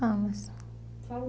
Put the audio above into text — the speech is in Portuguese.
Vamos. Fala